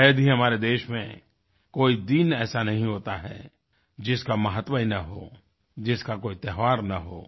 शायद ही हमारे देश में कोई दिन ऐसा नहीं होता है जिसका महत्व ही न हो जिसका कोई त्यौहार न हो